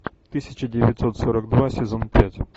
тысяча девятьсот сорок два сезон пять